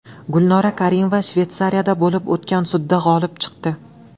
Gulnora Karimova Shveysariyada bo‘lib o‘tgan sudda g‘olib chiqdi.